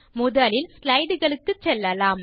முதலில் ஸ்லைடு களுக்குச் செல்லலாம்